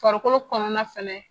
Farikolo kɔnɔna fɛnɛ